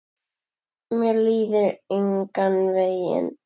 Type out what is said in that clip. Mér líður engan veginn.